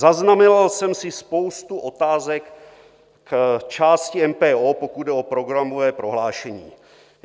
Zaznamenal jsem si spoustu otázek v části MPO, pokud jde o programové prohlášení.